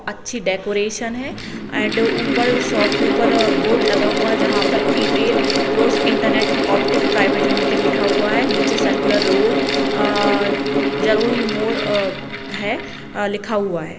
अच्छी डेकोरेशन है एंड ऊपर शॉप के ऊपर बोर्ड लगा हुआ जहां पर एयरटेल प्रोस इंटरनेट ऑप्टिक प्राइवेट लिमिटेड लिखा हुआ है नीचे सर्कुलर रोड अ जड़ोही मोड़ अ है लिखा हुआ है।